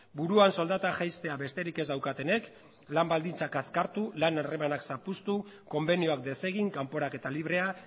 buruan soldata jaistea besterik ez daukatenek lan baldintzak azkartu lan harremanak zapuztu konbenioak desegin kanporaketa librea